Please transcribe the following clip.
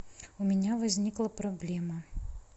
у меня возникла проблема